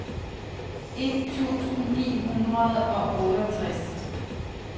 et tusind ni hundrede og otteogtres